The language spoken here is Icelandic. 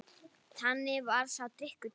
Þannig varð sá drykkur til.